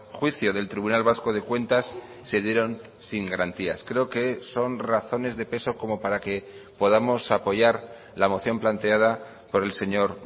juicio del tribunal vasco de cuentas se dieron sin garantías creo que son razones de peso como para que podamos apoyar la moción planteada por el señor